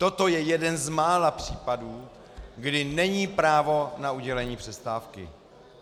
Toto je jeden z mála případů, kdy není právo na udělení přestávky.